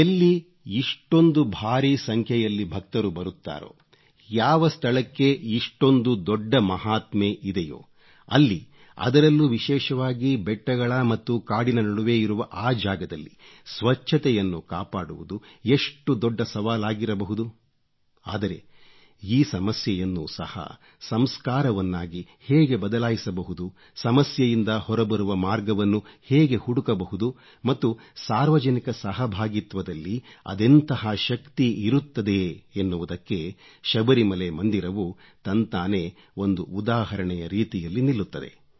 ಎಲ್ಲಿ ಇಷ್ಟೊಂದು ಭಾರೀ ಸಂಖ್ಯೆಯಲ್ಲಿ ಭಕ್ತರು ಬರುತ್ತಾರೋ ಯಾವ ಸ್ಥಳಕ್ಕೆ ಇಷ್ಟೊಂದು ದೊಡ್ಡ ಮಹಾತ್ಮೆ ಇದೆಯೋ ಅಲ್ಲಿ ಅದರಲ್ಲೂ ವಿಶೇಷವಾಗಿ ಬೆಟ್ಟಗಳ ಮತ್ತು ಕಾಡಿನ ನಡುವೆ ಇರುವ ಆ ಜಾಗದಲ್ಲಿ ಸ್ವಚ್ಚತೆಯನ್ನು ಕಾಪಾಡುವುದು ಎಷ್ಟು ದೊಡ್ಡ ಸವಾಲಾಗಿರಬಹುದು ಆದರೆ ಈ ಸಮಸ್ಯೆಯನ್ನು ಸಹ ಸಂಸ್ಕಾರವನ್ನಾಗಿ ಹೇಗೆ ಬದಲಾಯಿಸಬಹುದು ಸಮಸ್ಯೆಯಿಂದ ಹೊರಬರುವ ಮಾರ್ಗವನ್ನು ಹೇಗೆ ಹುಡುಕಬಹುದು ಮತ್ತು ಸಾರ್ವಜನಿಕ ಸಹಭಾಗಿತ್ವದಲ್ಲಿ ಅದೆಂತಹ ಶಕ್ತಿ ಇರುತ್ತದೆ ಎನ್ನುವುದಕ್ಕೆ ಶಬರಿಮಲೆ ಮಂದಿರವು ತಂತಾನೇ ಒಂದು ಉದಾಹರಣೆಯ ರೀತಿಯಲ್ಲಿ ನಿಲ್ಲುತ್ತದೆ